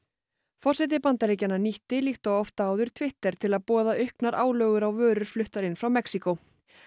forseti Bandaríkjanna nýtti líkt og oft áður Twitter til að boða auknar álögur á vörur fluttar inn frá Mexíkó